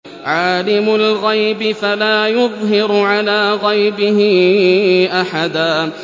عَالِمُ الْغَيْبِ فَلَا يُظْهِرُ عَلَىٰ غَيْبِهِ أَحَدًا